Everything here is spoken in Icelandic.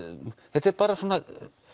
þetta er bara svona